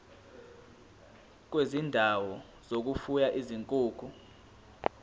kwezindawo zokufuya izinkukhu